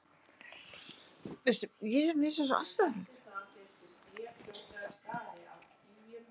Hann hefur greint störf knattspyrnustjórans.